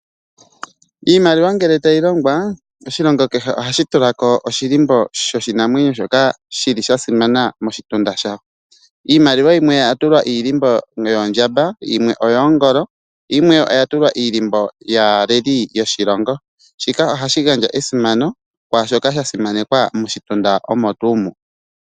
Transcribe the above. Iimaliwa ngele tayi longwa, oshilongo kehe ohashi tulako oshilimbo shoshinamwenyo shoka shili shasimana moshitunda shawo. Iimaliwa yimwe oya tulwa iilimbo yoondjamba, yimwe oyoongolo, nayimwe oya tulwa iilimbo yaaleli yoshilongo. Shika ohashi gandja esimaneko, kwaashoka shasimanekwa moshitunda mono.